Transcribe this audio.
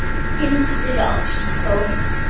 Hildur Ástþór.